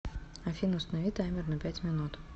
афина установи таймер на пять минут